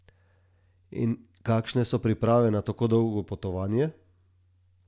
In kakšne so priprave na tako dolgo potovanje?